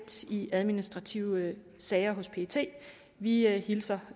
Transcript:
i administrative sager hos pet vi hilser